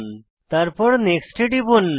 তারপর নেক্সট এ টিপুন